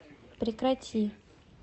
прекрати